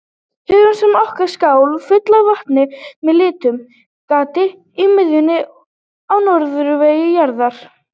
Hugsum okkur skál fulla af vatni með litlu gati í miðjunni á norðurhveli jarðar.